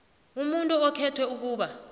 umuntu okhethwe ukuba